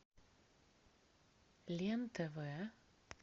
лен тв